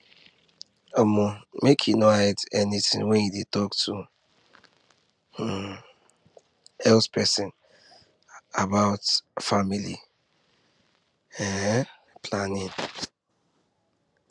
um make you no hide anything when you dey talk to um health person about family um planning